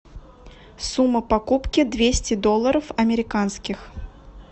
сумма покупки двести долларов американских